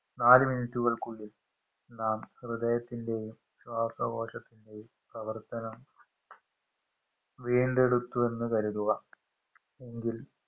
നാല്‌ minute കൾക്കുള്ളിൽ നാം ഹൃദയത്തിൻറെയും ശ്വാസകോശത്തിന്റെയും പ്രവർത്തനം വീണ്ടെടുത്തു എന്ന് കരുതുക എങ്കിൽ